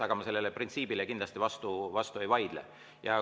Aga ma sellele printsiibile kindlasti vastu ei vaidle.